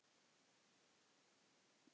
Ég get ekki annað.